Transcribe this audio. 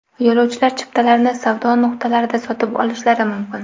Yo‘lovchilar chiptalarni savdo nuqtalarida sotib olishlari mumkin.